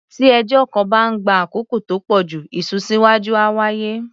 Tí ẹjọ́ kan bá ń gba àkókò tó pọ̀ jù, ìsúnsíwá́jú á wáyé.